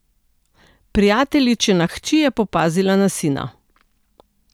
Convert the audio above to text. Prijateljičina hči je popazila na sina.